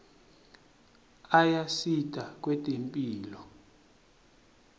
ayasita kwetemphilo